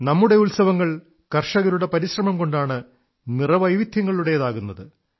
നമ്മുടെ ഉത്സവങ്ങൾ കർഷകരുടെ പരിശ്രമംകൊണ്ടാണ് നിറവൈവിധ്യങ്ങളുടേതാകുന്നത്